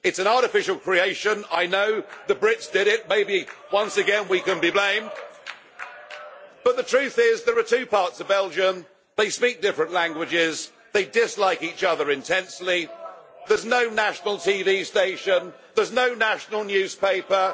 It is an artificial creation. I know the Brits did it, maybe once again we can be blamed, but the truth is there are two parts of Belgium, they speak different languages, they dislike each other intensely, there is no national TV station, there is no national newspaper.